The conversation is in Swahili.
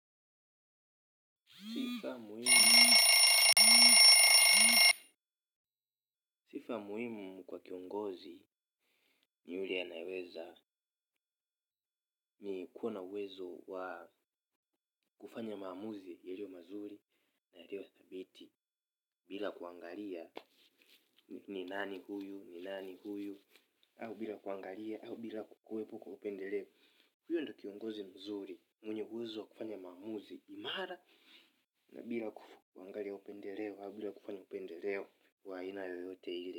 Sifa muhimu kwa kiongozi ni ile ya kuwa na uwezo wa kufanya maamuzi ya leo mazuri. Na yaliyo thabiti bila kuangalia ni nani huyu, ni nani huyu, au bila kuangalia, au bila kuwepo na upendeleo. Huyo ndo kiongozi mzuri mwenye uwezo wa kufanya maamuzi imara na bila kuangalia upendeleo, au bila kufanya upendeleo wa aina yoyote ile.